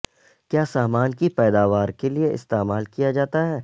کیا سامان کی پیداوار کے لئے استعمال کیا جاتا ہے